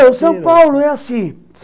São Paulo é assim.